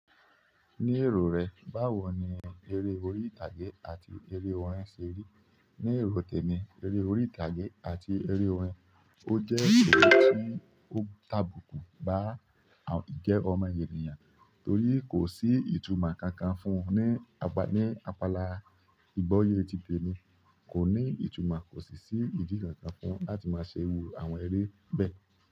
Ní èrò rẹ̀, báwo ni eré orí ìtàgé àti eré orin ṣe rí? Ní èrò tèmi, eré orí ìtàgé àti eré orin ó jẹ́ ère tí ó ń tàbùkù ba ìjẹ ọmọ ènìyàn torí kò sí ìtumọ̀ kankan fún un ní apala ìgboyè ti tèmi. Kò ní ìtumọ̀, kò sì sí ìdí kankan fún un láti máa ṣẹ́ iru àwọn eré bẹ́ẹ̀.